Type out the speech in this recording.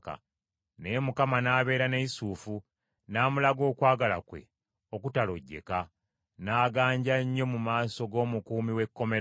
Naye Mukama n’abeera ne Yusufu, n’amulaga okwagala kwe okutalojjeka. N’aganja nnyo mu maaso g’omukuumi w’ekkomera.